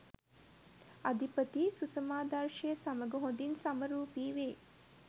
අධිපති සුසමාදර්ශය සමග හොඳින් සමරූපී වේ.